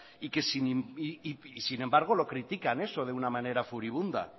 y sin embargo lo critican eso de una manera furibunda